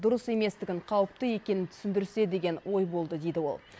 дұрыс еместігін қауіпті екенін түсіндірсе деген ой болды дейді ол